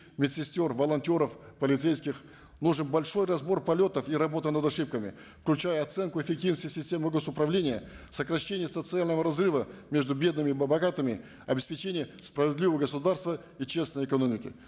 медсестер волонтеров полицейских нужен большой разбор полетов и работа над ошибками включая оценку эффективности системы гос управления сокращения социального разрыва между бедными и богатыми обеспечение справедливого государства и честной экономики